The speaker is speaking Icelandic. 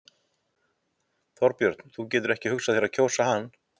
Þorbjörn: Þú getur ekki hugsað þér að kjósa hann?